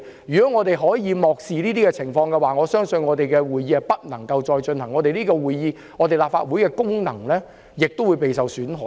如果我們漠視這些情況，我相信我們將不能繼續舉行會議，立法會的功能亦會受損。